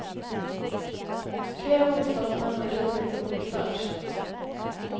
Flera motståndsmän hade gripits och bortförts.